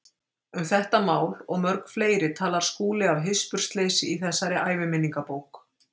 Um þetta mál og mörg fleiri talar Skúli af hispursleysi í þessari æviminningabók.